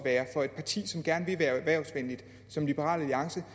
for et parti som liberal alliance